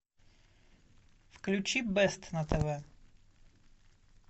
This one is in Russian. включи бест на тв